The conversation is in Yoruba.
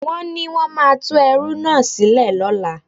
Wọ́n ní wón máa tú ẹrú náà sílẹ̀ lọ́la.